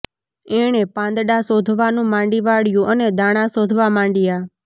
એણે પાંદડાં શોધવાનું માંડી વાળ્યું અને દાણા શોધવા માંડયા